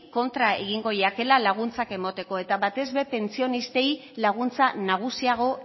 kontra egingo jakela laguntzak emoteko eta batez be pentsionistei laguntza nagusiago